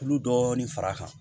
Kulu dɔɔni fara kan